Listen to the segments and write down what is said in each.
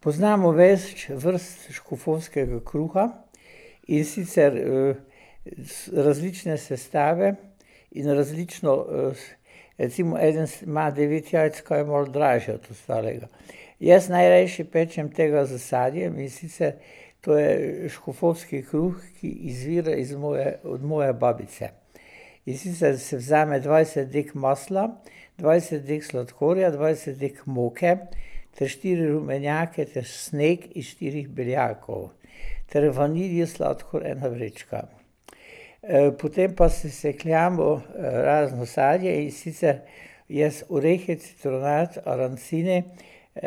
Poznamo več vrst škofovskega kruha, in sicer, iz različne sestave iz različno ... Recimo eden ima devet jajc, kar je malo dražje od ostalega. Jaz najrajši pečem tega s sadjem, in sicer to je škofovski kruh, ki izvira iz moje, od moje babice. In sicer si vzame dvajset dek masla, dvajset dek sladkorja, dvajset dek moke ter štiri rumenjake ter sneg iz štirih beljakov. ter vanilijev sladkor, ena vrečka. potem pa sesekljamo razno sadje, in sicer jaz orehe, citronat, arancine,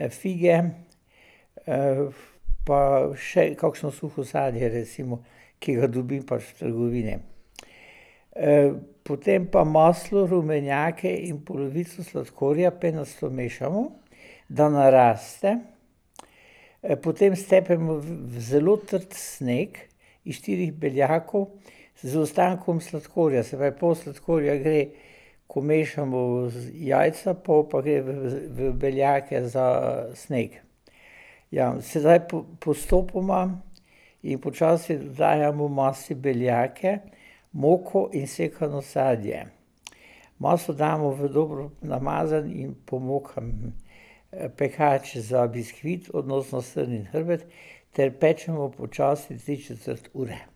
fige, pa še kakšno suho sadje recimo, ki ga dobim pa v trgovini. potem pa maslo, rumenjake in polovico sladkorja penasto vmešamo, da naraste, potem stepemo v zelo trd sneg iz štirih beljakov, z ostankom sladkorja, se pravi pol sladkorja gre, ko mešamo jajca, pol pa gre v beljake za sneg. Ja, sedaj postopoma in počasi dodajamo masi beljake, moko in sekano sadje. Maso damo v dobro namazano in pomokan pekač za biskvit, odnosno srnin hrbet ter pečemo počasi tri četrt ure.